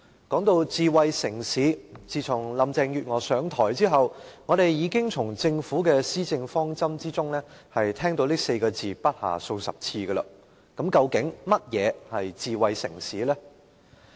說到智慧城市，自從林鄭月娥上場後，我們已經從政府的施政方針聽到這詞語不下數十次，究竟甚麼是智慧城市呢？